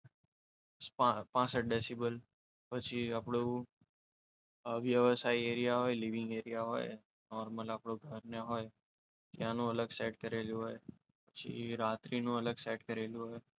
પાસઠ ડેસીબલ પછી આપણું વ્યવસાય રહ્યા હોય લિવિંગ એરિયા હોય નોર્મલ આપણું ઘર એ હોય ત્યાંનો અલગ સેટ કરેલું હોય પછી રાત્રિનું અલગ સેટ કરેલું હોય.